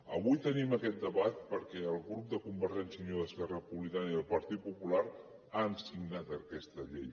avui tenim aquest debat perquè els grups de convergència i unió d’esquerra republicana i el partit popular han signat aquesta llei